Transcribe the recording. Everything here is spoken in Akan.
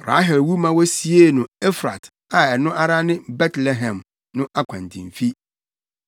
Rahel wu ma wosiee no Efrat a ɛno ara ne Betlehem no akwantemfi.